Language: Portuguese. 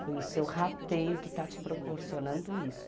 Foi o seu rateio que está te proporcionando isso.